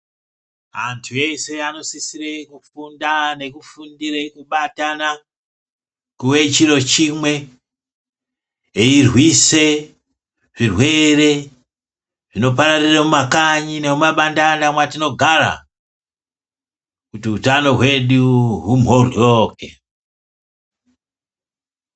Antu ese ano sisire ku kufunda neku fundire kubatana kuwe chiro chimwe eyi riswe zvi rwere zvino pararire muma kanyi ne muma bandanda matino gara kuti utano hwedu hubhoryoke.